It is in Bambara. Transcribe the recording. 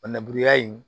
O nanburuya in